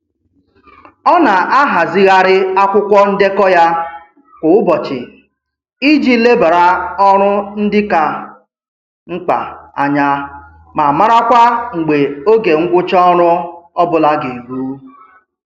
Ọ na-ahazigharị akwụkwọ ndekọ ya kwa ụbọchị iji lebara ọrụ ndị ka mkpa anya ma marakwa mgbe oge ngwụcha ọrụ ọbụla ga eru